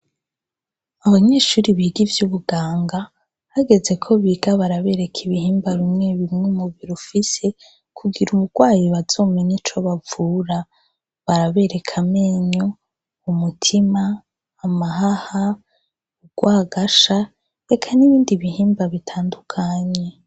Abanyeshure biga ivyubuganga hageze kobiga barabereka ibihimba bimwe bimwe umubiri ufise kugira umurwayi bazomenye ico bavura barabereka amenyo umutima amahaha urwagasha eka nibindi bihimba bitandukanye